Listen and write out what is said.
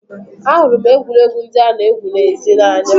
Ahụrụ m egwuregwu ndị a-na egwu n'èzí n'anya.